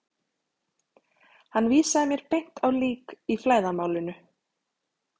Hann vísaði mér beint á lík í flæðarmálinu.